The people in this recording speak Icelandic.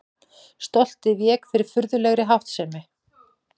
Stoltið vék fyrir furðulegri háttsemi.